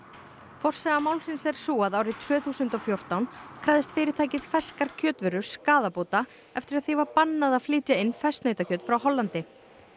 forsaga málsins er sú að árið tvö þúsund og fjórtán krafðist fyrirtækið ferskar kjötvörur skaðabóta eftir að því var bannað að flytja inn ferskt nautakjöt frá Hollandi